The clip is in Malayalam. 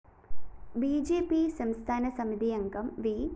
ബി ജെ പി സംസ്ഥാന സമിതിയംഗം വി